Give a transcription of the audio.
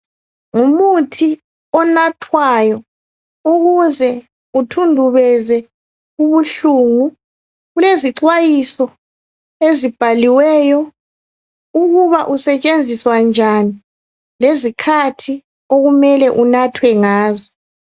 Ngumuthi onathwayo ukuze uthundubeze ubuhlungu. Kulezixwayiso ezibhaliweyo ukuba usetshenziswa njani lezikhathi okumele unathwe ngazo.